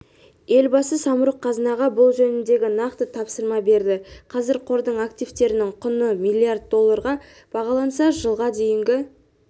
елбасы самұрық-қазынаға бұл жөнінде нақты тапсырма берді қазір қордың активтерінің құны млрд долларға бағаланса жылға дейін